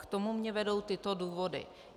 K tomu mě vedou tyto důvody.